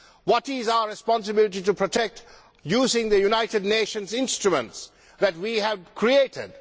What is our responsibility to protect using the United Nations instruments that we have created?